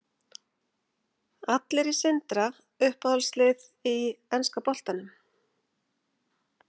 Allar í Sindra Uppáhalds lið í enska boltanum?